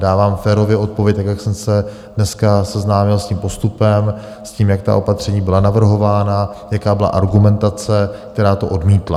Dávám férově odpověď, jak jsem se dneska seznámil s tím postupem, s tím, jak ta opatření byla navrhována, jaká byla argumentace, která to odmítla.